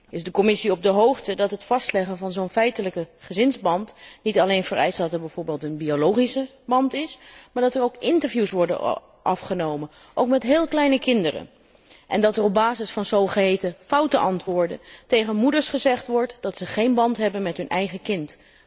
Is de Commissie op de hoogte dat het vastleggen van zo'n feitelijke gezinsband niet alleen vereist dat er bijvoorbeeld een biologische band is, maar dat er ook interviews worden afgenomen, ook met heel kleine kinderen en dat er op basis van zogeheten foute antwoorden tegen moeders gezegd wordt dat ze geen band hebben met hun eigen kind.